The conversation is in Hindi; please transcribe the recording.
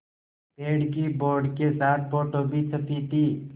पेड़ की बोर्ड के साथ फ़ोटो भी छपी थी